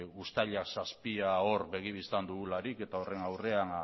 uztailak zazpia hor begi bistan dugularik eta horren aurrean